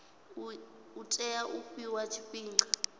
u tea u fhiwa tshifhinga